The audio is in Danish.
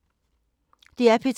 DR P2